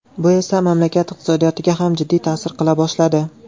Bu esa mamlakat iqtisodiyotiga ham jiddiy ta’sir qila boshladi.